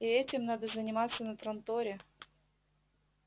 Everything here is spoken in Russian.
и этим надо заниматься на транторе